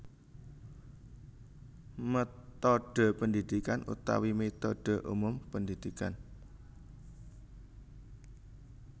Métodhe pendidikan utawi métodhe umum pendidikan